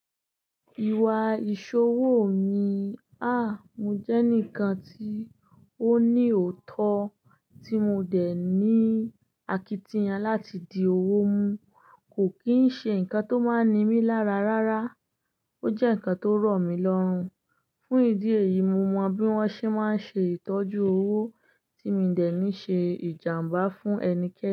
Ìwà ìṣòwò mi, ha, mo jẹ́ enikan tí ó ní òótọ́ tí mo dẹ̀ ní àkítìyán láti di òwò mú, kò kí ń ṣe ǹkan tó máa nimí lára rárá. Ó jẹ́ ǹkan tó rọ̀ mí lọ́run. Fún ìdí èyí, mo mọ bí wọ́n ṣe máa ń ṣe ìtọ́jú òwò tí mo dẹ̀ ní ṣe ìjàmbá fún ẹnikẹ́ni.